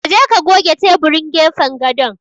Ka je ka goge teburin gefen gadon.